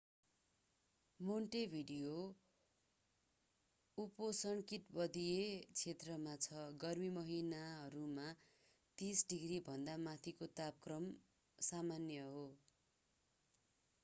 Montevideo उपोष्णकटिबंधीय क्षेत्रमा छ; गर्मी महिनाहरूमा +30°cभन्दा माथिको तापमान सामान्य हो।